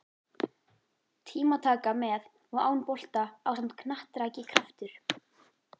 Tímataka með og án bolta ásamt knattraki Kraftur?